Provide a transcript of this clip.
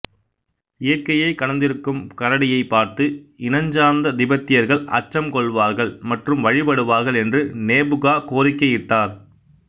இயற்கையை கடந்திருக்கும் கரடியை பார்த்து இனஞ்சார்ந்த திபெத்தியர்கள் அச்சம் கொள்வார்கள் மற்றும் வழிபடுவார்கள் என்று நேபுகா கோரிக்கையிட்டார்